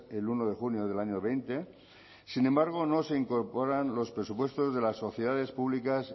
el uno de junio del año veinte sin embargo no se incorporan los presupuestos de las sociedades públicas